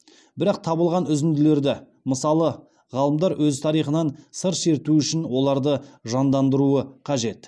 бірақ табылған үзінділерді мысалы ғалымдар өз тарихынан сыр шертуі үшін оларды жандандыруы қажет